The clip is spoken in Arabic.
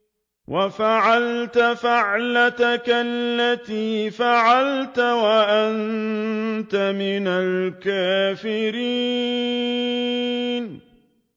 وَفَعَلْتَ فَعْلَتَكَ الَّتِي فَعَلْتَ وَأَنتَ مِنَ الْكَافِرِينَ